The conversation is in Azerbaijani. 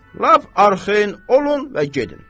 Lap arxayın olun və gedin.